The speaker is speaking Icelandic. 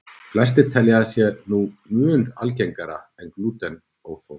Flestir telja að það sé sé mun algengara en glútenóþol.